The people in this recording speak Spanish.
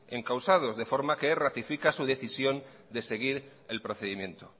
encausados de forma que ratifica su decisión de seguir el procedimiento